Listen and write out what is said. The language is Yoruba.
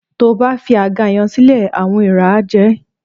Tó o bá fi àga yẹn sílẹ̀, àwọn eèrà á jẹ ẹ́